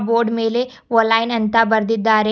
Board ಮೇಲೆ ವೊಲೈನ್ ಅಂತ ಬರೆದಿದ್ದಾರೆ.